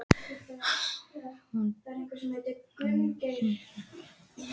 Anor, hvaða sýningar eru í leikhúsinu á þriðjudaginn?